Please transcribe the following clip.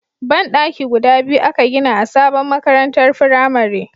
Ban daki guda biyu a ka gina a sabon makarantar firamare